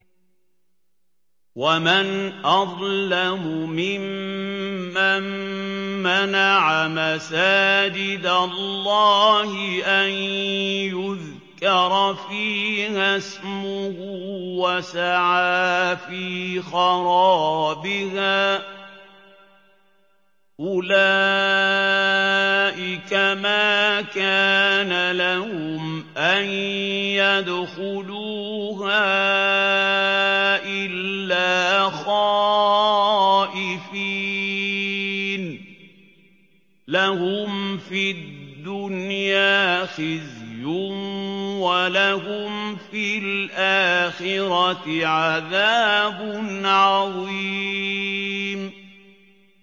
وَمَنْ أَظْلَمُ مِمَّن مَّنَعَ مَسَاجِدَ اللَّهِ أَن يُذْكَرَ فِيهَا اسْمُهُ وَسَعَىٰ فِي خَرَابِهَا ۚ أُولَٰئِكَ مَا كَانَ لَهُمْ أَن يَدْخُلُوهَا إِلَّا خَائِفِينَ ۚ لَهُمْ فِي الدُّنْيَا خِزْيٌ وَلَهُمْ فِي الْآخِرَةِ عَذَابٌ عَظِيمٌ